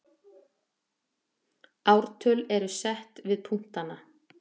ártöl eru sett við punktana